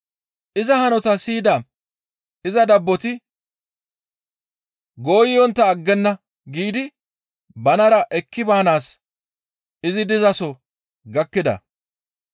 Iza hanotaa siyida iza dabboti, «Gooyontta aggenna» giidi banara ekki baanaas izi dizaso gakkida.